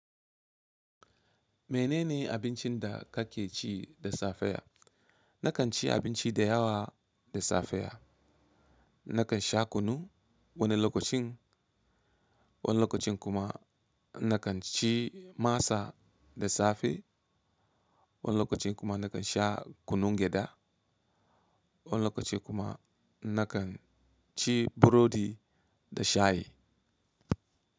Mene ne abincin da kake ci da safe? Nakan ci abinci da yawa da safe. Nakan sha kunu wani lokacin, wani lokacin kuma nakan ci masa da safe. Wani lokacin kuma nakan sha kunun gyaɗa. Wani lokacin kuma nakan ci burodi da shayi.